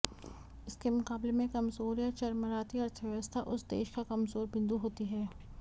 इसके मुक़ाबले में कमज़ोर या चरमराती अर्थव्यवस्था उस देश का कमज़ोर बिंदु होती है